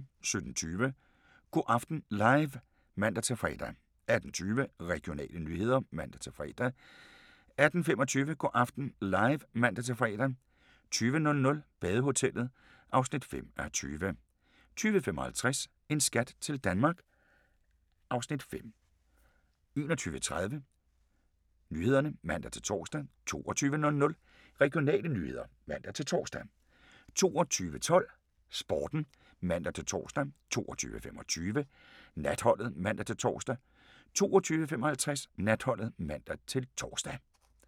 17:20: Go' aften live (man-fre) 18:20: Regionale nyheder (man-fre) 18:25: Go' aften live (man-fre) 20:00: Badehotellet (5:20) 20:55: En skat til Danmark (Afs. 5) 21:30: Nyhederne (man-tor) 22:00: Regionale nyheder (man-tor) 22:12: Sporten (man-tor) 22:25: Natholdet (man-tor) 22:55: Natholdet (man-tor)